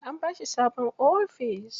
An bashi sabon ofis.